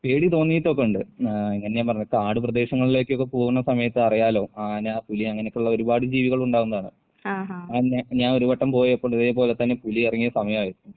പേടി തോന്നിയിട്ടൊക്കെയുണ്ട്. ഏഹ് ഇങ്ങനെ ഞാൻ പറഞ്ഞില്ലേ കാട് പ്രദേശങ്ങളിലേക്കൊക്കെ പോവുന്ന സമയത്ത് അറിയാല്ലോ ആന, പുലി അങ്ങനൊക്കുള്ള ഒരുപാട് ജീവികൾ ഉണ്ടാകുന്നതാണ്. അത് ഞാൻ ഞാൻ ഒരു വട്ടം പോയപ്പോണ്ട് ഇതേപോലെ തന്നെ പുലി എറങ്ങിയ സമയായിരുന്നു.